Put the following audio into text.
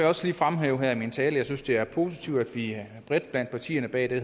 også lige fremhæve her i min tale at jeg synes det er positivt at vi bredt blandt partierne bag det